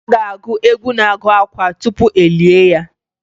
A ga-agụ egwu na-agụ akwa tupu e lie ya